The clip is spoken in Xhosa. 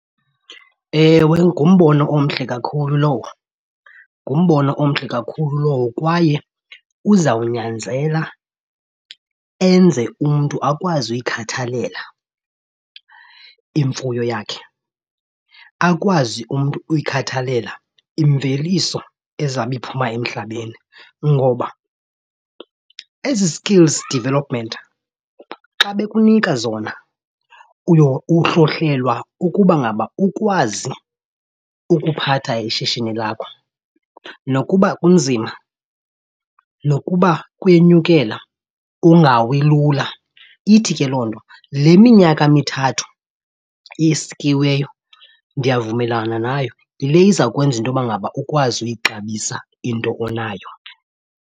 Ewe, ngumbono omhle kakhulu lowo. Ngumbono omhle kakhulu lowo kwaye uzawunyanzela enze umntu akwazi uyikhathalela imfuyo yakhe, akwazi umntu uyikhathalela imveliso ezawube iphuma emhlabeni. Ngoba ezi skills development xa bekunika zona uhlohlelwa ukuba ngaba ukwazi ukuphatha ishishini lakho. Nokuba kunzima nokuba kuyenyukela ungawi lula. Ithi ke loo nto le minyaka mithathu isikiweyo ndiyavumelana nayo, yile izawukwenza into yoba ngaba ukwazi uyixabisa into onayo.